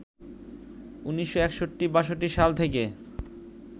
১৯৬১-৬২ সাল থেকে